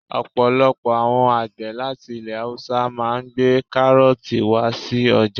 Ọ̀pọ̀lọpọ̀ àwọn àgbẹ̀ láti ilẹ̀ haúsá máà ń gbé kárọ̀ọ̀tì wá sí ọjà